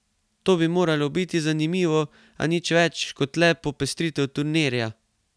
To bi moralo biti zanimivo, a nič več kot le popestritev turnirja.